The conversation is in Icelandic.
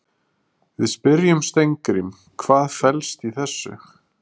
Við spyrjum Steingrím, hvað fellst í þessu?